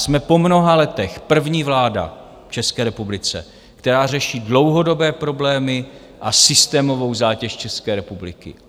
Jsme po mnoha letech první vláda v České republice, která řeší dlouhodobé problémy a systémovou zátěž České republiky.